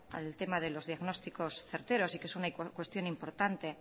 al tema de los diagnósticos certeros y que es una cuestión importante